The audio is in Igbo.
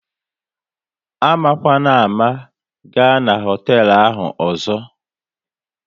Amakwana ámá, ga na hoteelu ahụ ọzọ!